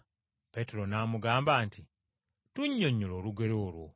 Peetero n’amugamba nti, “Tunnyonnyole olugero olwo.”